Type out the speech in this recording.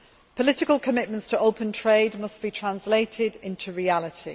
Political commitments to open trade must be translated into reality.